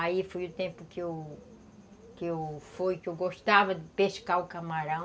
Aí foi o tempo que eu que eu gostava de pescar o camarão.